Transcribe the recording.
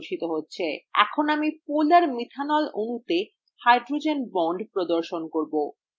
এখন আমি polar methanol অণুতে hydrogen বন্ধন প্রদর্শন করব